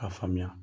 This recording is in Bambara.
K'a faamuya